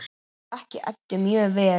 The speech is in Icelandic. Ég þekki Eddu mjög vel.